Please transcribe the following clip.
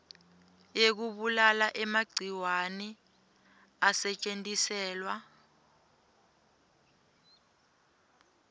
yekubulala emagciwane asetjentiselwa